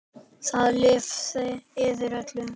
Það lifnaði yfir öllu.